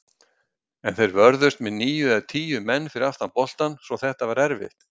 En þeir vörðust með níu eða tíu menn fyrir aftan boltann svo þetta var erfitt.